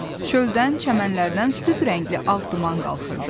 Çöldən, çəmənlərdən süd rəngli ağ duman qalxırdı.